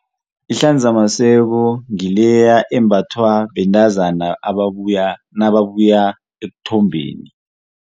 Ihlanzamaseko ngileya embathwa bentazana nababuya ekuthombeni.